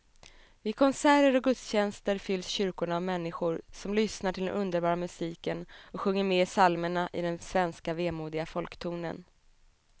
Vid konserter och gudstjänster fylls kyrkorna av människor som lyssnar till den underbara musiken och sjunger med i psalmerna i den svenska vemodiga folktonen.